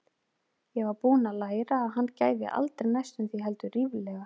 Ég var búin að læra að hann gæfi aldrei næstum því, heldur ríflega.